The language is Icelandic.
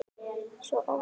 Svo óvænt.